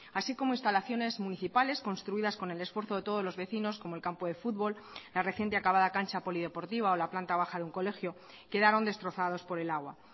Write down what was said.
así como instalaciones municipales construidas con el esfuerzo de todos los vecinos como el campo de fútbol la reciente acabada cancha polideportiva o la planta baja de un colegio quedaron destrozados por el agua